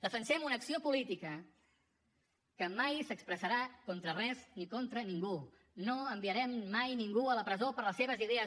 defensem una acció política que mai s’expressarà contra res ni contra ningú no enviarem mai ningú a la presó per les seves idees